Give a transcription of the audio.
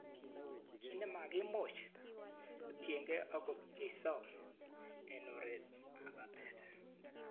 Kit ne makimuch ketiekei ko kobcheiso eng oretb batet.